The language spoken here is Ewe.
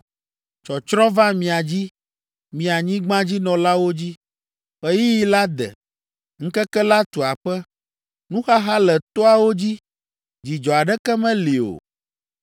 Tsɔtsrɔ̃ va mia dzi mi anyigbadzinɔlawo dzi. Ɣeyiɣi la de, ŋkeke la tu aƒe. Nuxaxa le toawo dzi, dzidzɔ aɖeke meli o.